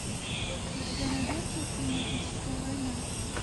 у тебя найдется климатическая война